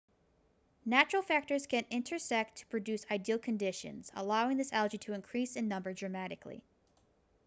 natural factors can intersect to produce ideal conditions allowing this algae to increase in number dramatically